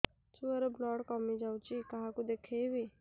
ଛୁଆ ର ବ୍ଲଡ଼ କମି ଯାଉଛି କାହାକୁ ଦେଖେଇବି